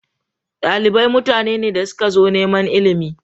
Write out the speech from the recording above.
Dalibai mutane ne da suka zo neman ilimi.